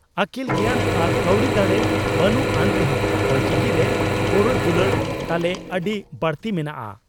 ᱟᱹᱠᱤᱞ ᱜᱮᱭᱟᱱ ᱟᱨ ᱠᱟᱹᱣᱰᱤ ᱫᱟᱲᱮ ᱵᱟᱹᱱᱩᱜ ᱟᱱ ᱨᱮᱦᱚᱸ ᱚᱞᱪᱤᱠᱤ ᱨᱮ ᱜᱚᱨᱚᱡᱽ ᱫᱩᱞᱟᱹᱲ ᱛᱟᱞᱮ ᱟᱹᱰᱤ ᱵᱟᱹᱲᱛᱤ ᱢᱮᱱᱟᱜᱼᱟ ᱾